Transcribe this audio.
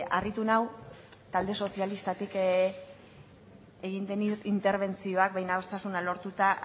harritu nau talde sozialistatik egin den interbentzioa behin adostasuna lortuta